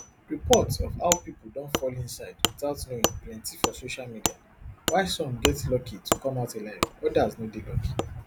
reports of how pipo don fall inside witout knowing plenti for social media while some get lucky to come out alive odas no dey lucky